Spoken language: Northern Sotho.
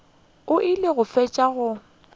o ile go fetša go